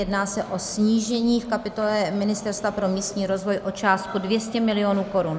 Jedná se o snížení v kapitole Ministerstva pro místní rozvoj o částku 200 mil. korun.